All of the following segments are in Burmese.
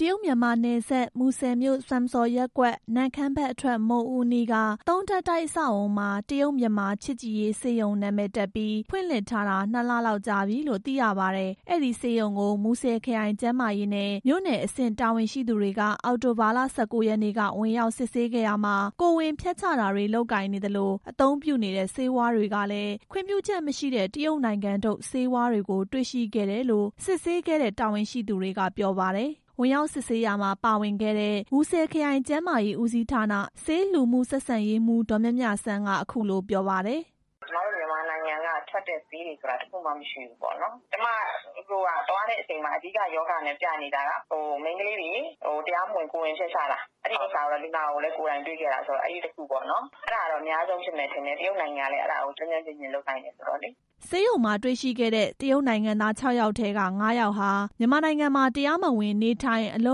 တရုတ်-မြန်မာနယ်စပ် မူဆယ်မြို့စွမ်စော်ရပ်ကွက် နမ့်ခမ်းဘက်အထွက် မုဒ်ဦးအနီးက သုံးထပ်တိုက် အဆောက်အအုံမှာ တရုတ်-မြန်မာချစ်ကြည်ရေး ဆေးရုံ နာမည်တပ်ပြီး ဖွင့်လှစ်ထားတာ နှစ်လလောက်ကြာပြီလို့ သိရပါတယ်။ အဲဒီဆေးရုံကို မူဆယ်ခရိုင်ကျန်းမာရေးနဲ့မြို့နယ်အဆင့် တာဝန်ရှိသူတွေက အောက်တိုဘာလ ၁၉ရက်နေ့က ဝင်ရောက်စစ်ဆေးရာမှာ ကိုယ်ဝန်ဖျက်ချတာတွေ လုပ်ကိုင်နေသလို အသုံးပြုနေတဲ့ ဆေးဝါးတွေကလည်း ခွင့်ပြုချက်မရှိတဲ့ တရုတ်နိုင်ငံထုတ် ဆေးဝါးတွေ တေ့ွရှိခဲ့တယ်လို့ စစ်ဆေးခဲ့တဲ့ တာဝန်ရှိသူတွေက ပြောပါတယ်။ ဝင်ရောက်စစ်ဆေးရာမှာ ပါဝင်ခဲ့တဲ့ မူဆယ်ခရိုင်ကျန်းမာရေး ဦးစီးဌာန ဆေးလူမှုဆက်ဆံရေးမှူး ဒေါ်မြမြစန်းက အခုလို ပြောပါတယ်။ " ကျွန်မတို့ မြန်မာနိုင်ငံက ထွက်တဲ့ဆေးတွေဆိုတာ တစ်ခုမှ မရှိဘူးပေါ့၊ ကျွန်မရောက်သွားတဲ့အချိန်မှာ အဓိကရောဂါနဲ့ပြနေတာက မိန်းကလေးတွေ တရားမဝင် ကိုယ်ဝန်ဖျက်ချတာ၊ အဲဒီဥစ္စာကိုတော့ လူနာကိုလည်း ကိုယ်တိုင်တွေ့ခဲ့ရတယ်၊ အဲဒါတော့အများဆုံးဖြစ်မယ်ထင်တယ်၊ တရုတ်နိုင်ငံကလည်း အဲဒါကို ကျွမ်းကျွမ်းကျင်ကျင်လုပ်နိုင်တယ်ဆိုတော့လေ" ဆေးရုံမှာတွေ့ရှိခဲ့တဲ့ တရုတ်နိုင်ငံသား ၆ ယောက်ထဲက ၅ ယောက်ဟာ မြန်မာနိုင်ငံမှာ တရားမဝင် နေထိုင်အလု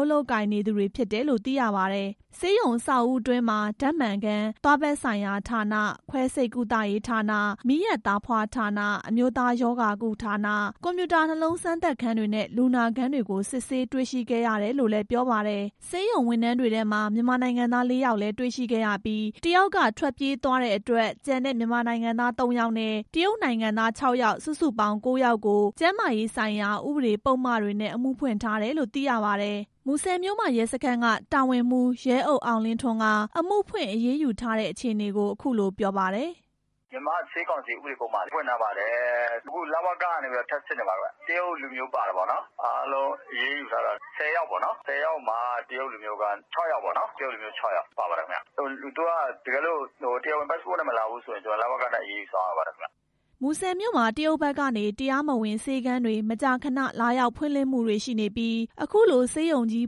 ပ်လုပ်ကိုင်နေသူတွေ ဖြစ်တယ်လို့ သိရပါတယ်။ ဆေးရုံအဆောက်အဦးအတွင်းမှာ ဓာတ်မှန်ခန်း၊ သွားဘက်ဆိုင်ရာဌာန၊ ခွဲစိတ်ကုသရေးဌာန၊ မီးယပ်သားဖွားဌာန၊ အမျိုးသားရောဂါကုဌာန၊ ကွန်ပျူတာနှလုံးစမ်းသပ်ခန်းတွေနဲ့ လူနာခန်းတွေကို စစ်ဆေးတွေ့ရှိခဲ့ရတယ်လို့လည်း ပြောပါတယ်။ ဆေးရုံဝန်ထမ်းတွေထဲမှာ မြန်မာနိုင်ငံသား ၄ဦးလည်း တေ့ွရှိခဲ့ရပြီး တစ်ဦးက ထွက်ပြေးသွားတဲ့အတွက် ကျန်တဲ့ မြန်မာနိုင်ငံသား ၃ဦးနဲ့ တရုတ်နိုင်ငံသား ၆ ဦး စုစုပေါင်း ၉ဦးကို ကျန်းမာရေးဆိုင်ရာ ဥပဒေပုဒ်မတွေနဲ့ အမှုဖွင့်ထားတယ်လို့ သိရပါတယ်။ မူဆယ်မြို့မရဲစခန်းက တာဝန်မှူး ရဲအုပ်အောင်လင်းထွန်းက အမှုဖွင့်အရေးယူထားတဲ့ အခြေအနေကို အခုလိုပြောပါတယ်။ "မြန်မာ့ဆေးကောင်စီ ဥပဒေပုဒ်မတွေနဲ့ အမှုဖွင့်ထားပါတယ်၊ အခု လဝက ကနေ ထပ်စစ်နေပါတယ်၊ တရုတ်လူမျိုးပါတယ်ပေါ့နော်၊ အားလုံးအရေးယူထားတာ ၁၀ ယောက် မှာ တရုတ်လူမျိုးက ၆ ယောက်ပေါ့နော်၊ သူကတကယ်လို့ တရားဝင်ပတ်စပို့နဲ့ မလာဘူးဆိုရင် သူက လဝကနဲ့ အရေးယူဆောင်ရွက်ရပါတယ်" မူဆယ်မြို့မှာ တရုတ်ဘက်ကနေ တရားမဝင် ဆေးခန်းတွေ မကြာခဏ လာရောက်ဖွင့်လှစ်မှုတွေရှိနေပြီး အခုလိုဆေးရုံကြီး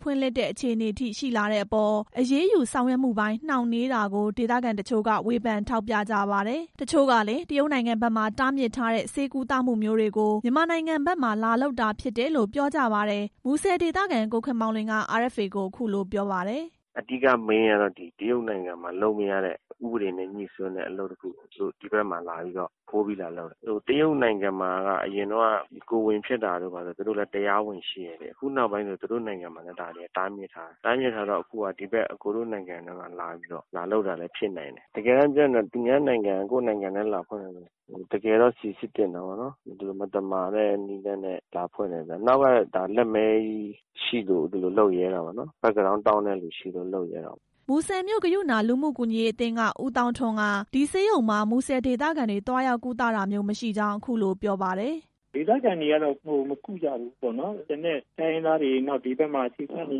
ဖွင့်လှစ်တဲ့အခြေအနေအထိ ရှိလာတဲ့အပေါ် အရေးယူဆောင်ရွက်မှုပိုင်း နှောင့်နှေးတာကို ဒေသခံတချို့က ဝေဖန်ထောက်ပြကြပါတယ်။ တချို့ကလည်း တရုတ်နိုင်ငံဘက်မှာ တားမြစ်ထားတဲ့ ဆေးကုသမှုမျိုးတွေကို မြန်မာနိုင်ငံဘက်မှာ လာလုပ်တာဖြစ်တယ်လို့ ပြောကြပါတယ်။ မူဆယ်ဒေသခံ ကိုခင်မောင်လွင် က RFA ကို အခုလိုပြောပါတယ်။ "အဓိကမိန်းကတော့ တရုတ်နိုင်ငံမှာ လုပ်မရတဲ့ ဥပဒေနဲ့ ငြိစွန်းတဲ့ အလုပ်တစ်ခု ဒီဘက်မှာလာပြီးတော့ ခိုးပြီး လာလုပ်တာ၊ တရုတ်နိုင်ငံမှာ အရင်တုန်းက ကိုယ်ဝန်ဖျက်တာတို့ ဘာတို့က သူတို့ တရားဝင်ရှိတယ်လေ၊ အခုနောက်ပိုင်းတော့ ဒါတွေက သူတို့နိုင်ငံမှာလည်း တားမြစ်ထားတယ်၊ တားမြစ်ထားတော့ ဒီဘက်နိုင်ငံမှာ လာလုပ်တာလည်း ဖြစ်နိုင်တယ်၊ တကယ်တမ်းပြောရင် သူများနိုင်ငံက ကိုယ့်နိုင်ငံထဲ လာဖွင့်တာ တကယ်တော့ စိစစ်သင့်တာပေါ့နော်၊ ဒီလိုမသမာတဲ့နည်းလမ်းတဲ့ လာဖွင့်တာဆိုတာ နောက်က လက်မဲကြီးရှိလို့ ဒီလိုမျိုးလုပ်ရဲ တာပေါ့၊ ဘက်ဂရောင်းတောင့်တဲ့သူရှိလို့ လုပ်ရဲတာပေါ့" မူဆယ်မြို့ ကရုဏာ လူမှုကူညီရေးအသင်းက ဦးသောင်းထွန်းက ဒီဆေးရုံမှာ မူဆယ်ဒေသခံတွေ သွားရောက်ကုသတာမျိုး မရှိကြောင်း အခုလို ပြောပါတယ်။ "ဒေသခံတွေကတော့ မကုကြဘူးပေါ့နော်၊ ကျန်တဲ့တိုင်းရင်းသားတွေ ဒီဘက်မှာ အခြေချနေ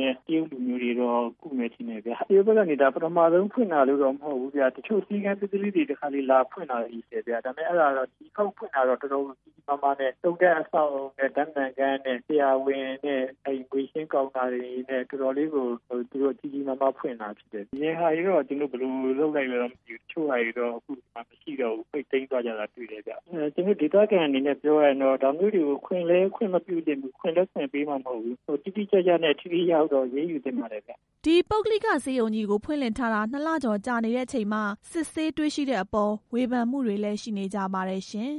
တဲ့ တရုတ် လူမျိုးတွေတော့ ကုမယ်ထင်တယ်ဗျ၊ တရုတ်ဘက်ကနေ ဒါပထမဆုံးဖွင့်တာမျိုးတော့ မဟုတ်ဘူးဗျ၊ တချို့ ဆေးခန်းသေးသေးလေးတွေ တခါတလေလာဖွင့်တာမျိုးလည်းရှိတယ်၊ ဒီတခေါက်ဖွင့်တာကတော့ တော်တော်ကို ကြီးကြီးမားမားနဲ့ သုံးထပ်အဆောက်အအုံနဲ့ ဓာတ်မှန်ခန်းနဲ့ ဆရာဝန်နဲ့ ငွေရှင်းကောင်တာတွေနဲ့ တော်တော်လေးကို ကြီးကြီးမားမားဖွင့်တာဖြစ်တယ်၊ အရင်ဟာတွေတော့ ဘယ်လိုလုပ်လိုက်တယ်မသိဘူး၊ တချို့ဟာတွေ အခုမရှိတော့ဘူး၊ ပိတ်သိမ်းသွားကြတာတွေ့တယ်၊ ဒေသခံအနေနဲ့ပြောရရင်တော့ ဒါမျိုးတွေကို ခွင့်လည်းခွင့်မပြုသင့်ဘူး၊ တိတိကျကျနဲ့ ထိထိရောက်ရောက်တော့အရေးယူသင့်ပါတယ်" ဒီပုဂ္ဂလိကဆေးရုံကြီးကို ဖွင့်လှစ်ထားတာ နှစ်လကျော်ကြာနေတဲ့အချိန်မှ စစ်ဆေးတွေ့ရှိတဲ့အပေါ် ဝေဖန်မှုတွေလည်း ရှိနေကြပါတယ်ရှင်။